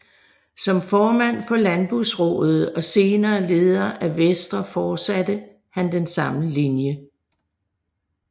Som formand for Landbrugsraadet og senere leder af Venstre fortsatte han denne linje